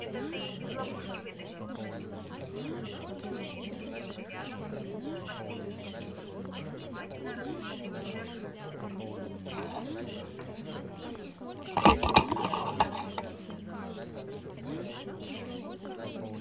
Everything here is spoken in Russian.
это ты их из ловушки вытащил обратился к нему незнакомый человек сидевший рядом и последние несколько минут внимательно рассматривавший артема